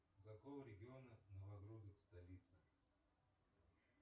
у какого региона столица